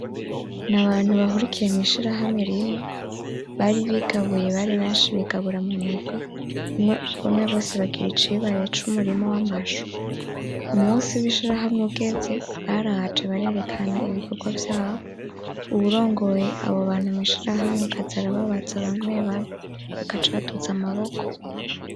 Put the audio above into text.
Ni abantu bahurikiye mw'ishirahamwe rimwe bari bigabuye, bari benshi bigabura mu migwi, umwe wese agira icibare c'umurima w'amashu. Umunsi w'ishirahamwe ugeze baraje barerekana ibikorwa vyabo Uwurongoye abo bantu mw'ishirahamwe akaza arababaza bamwe bamwe bagaca baduza amaboko.